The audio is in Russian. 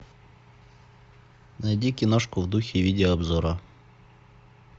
найди киношку в духе видеообзора